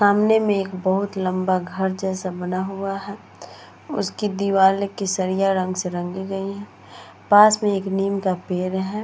सामने में एक बहोत लंबा घर जैसा बना हुआ है। उसकी दीवारे केसरिया रंग से रंगी गई हैं। पास में एक नीम का पेड है।